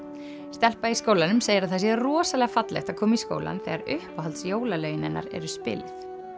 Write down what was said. stelpa í skólanum segir að það sé rosalega fallegt að koma í skólann þegar uppáhalds jólalögin hennar eru spiluð